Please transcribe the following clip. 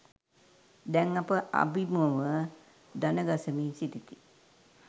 දැන් අප අබිමුව දණගසමින් සිටිති.